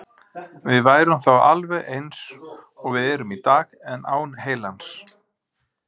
Við værum þá alveg eins og við erum í dag, en án heilans.